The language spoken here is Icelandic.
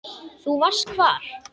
Þú varst hvar?